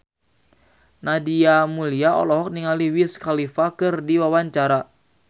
Nadia Mulya olohok ningali Wiz Khalifa keur diwawancara